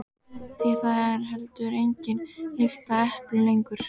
Því það er heldur engin lykt af eplum lengur.